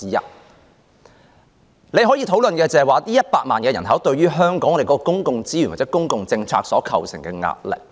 大家可以討論的是，這100萬人口對於香港的公共資源或公共政策所構成的壓力。